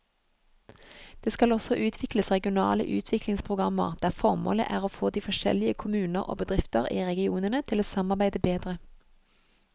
Det skal også utvikles regionale utviklingsprogrammer der formålet er å få de forskjellige kommuner og bedrifter i regionene til å samarbeide bedre.